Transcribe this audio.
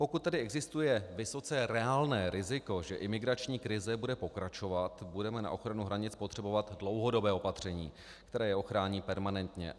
Pokud tedy existuje vysoce reálné riziko, že imigrační krize bude pokračovat, budeme na ochranu hranic potřebovat dlouhodobé opatření, které je ochrání permanentně.